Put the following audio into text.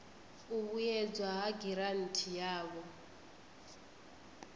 u vhuedzedzwa ha giranthi yavho